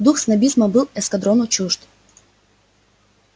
дух снобизма был эскадрону чужд